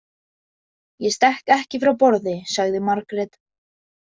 Ég stekk ekki frá borði, sagði Margrét.